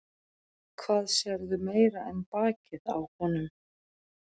Hvað sérðu meira en bakið á honum?